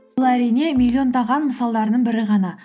бұл әрине миллиондаған мысалдардың бірі ғана